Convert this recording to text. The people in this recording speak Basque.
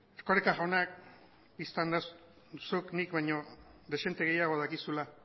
erkoreka jaunak bistan da zuk nik baino dezente gehiago dakizula